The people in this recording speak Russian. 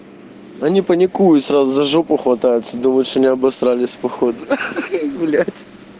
да не паникуй сразу за жопу хватается думает что не обосрались походу ха-ха блять